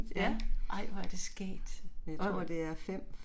Ej hvor er det skægt, og